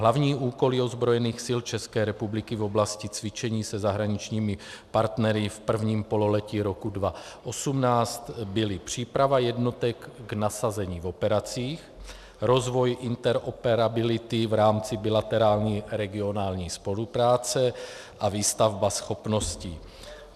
Hlavní úkoly ozbrojených sil České republiky v oblasti cvičení se zahraničními partnery v prvním pololetí roku 2018 byly příprava jednotek k nasazení v operacích, rozvoj interoperability v rámci bilaterární regionální spolupráce a výstavba schopností.